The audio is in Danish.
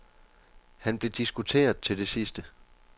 Han blev diskuteret til det sidste.